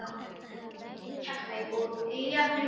Þau eiga nú heima í Keflavík og eiga þrjú börn.